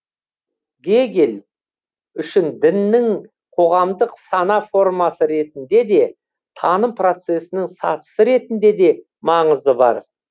гегель үшін діннің қоғамдық сана формасы ретінде де таным процесінің сатысы ретінде де маңызы бар